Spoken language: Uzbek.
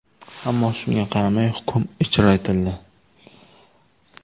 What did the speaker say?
Ammo, shunga qaramay, hukm ijro etildi.